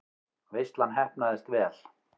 Veislan heppnaðist vel.